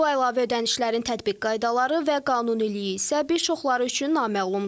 Bu əlavə ödənişlərin tətbiq qaydaları və qanuniliyi isə bir çoxları üçün naməlumdur.